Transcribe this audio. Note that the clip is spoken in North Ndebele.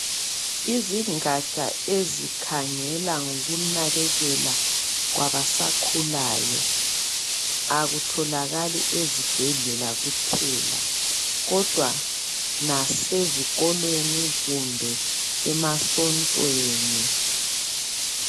Izingaja ezikhangela ngokunakekela kwabasakhulayo, akutholakali esibhedlela kuphela. Kodwa lasezikolo, kumbe emasontweni.